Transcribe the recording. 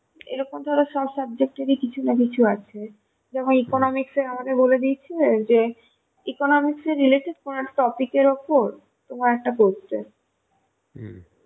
এইরকম ধরো সব subject এর কিছু না কিছু আছে, যেমন Economic আমাদের বলেদিয়েছিল যে economics related কোনো এক topic এর উপর তোমার একটা করতে